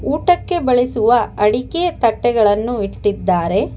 ಊಟಕ್ಕೆ ಬಳಸುವ ಅಡಿಕೆ ತಟ್ಟೆಗಳನ್ನು ಇಟ್ಟಿದ್ದಾರೆ.